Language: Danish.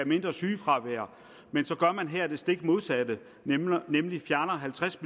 mindre sygefravær men så gør man her det stik modsatte nemlig fjerner halvtreds